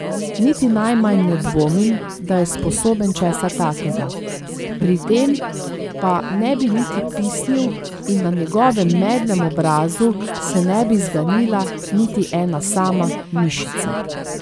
Niti najmanj ne dvomim, da je sposoben česa takega, pri tem pa ne bi niti pisnil in na njegovem medlem obrazu se ne bi zganila niti ena sama mišica.